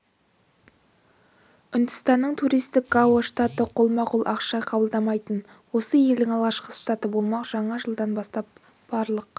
үндістанның туристік гоа штаты қолма-қол ақша қабылдамайтын осы елдің алғашқы штаты болмақ жаңа жылдан бастап барлық